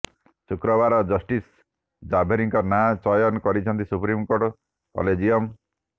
ଶୁକ୍ରବାର ଜଷ୍ଟିସ ଜାଭେରୀଙ୍କ ନାଁ ଚୟନ କରିଛନ୍ତି ସୁପ୍ରିମକୋର୍ଟ କଲେଜିୟମ୍